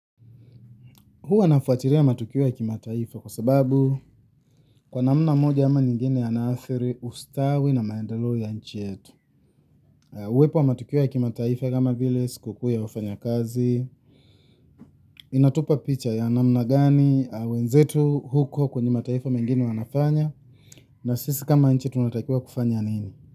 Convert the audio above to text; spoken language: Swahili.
Huwa nafuatilia matukio ya kimataifa kwa sababu kwa namna moja ama nyingine yaathiri ustawi na maendeleo ya nchi yetu. Uwepo wa matukio ya kimataifa kama vile sikukuu ya wafanyakazi. Inatupa picha ya namna gani wenzetu huko kwenye mataifa mengine wanafanya. Na sisi kama nchi tunatakiwa kufanya nini.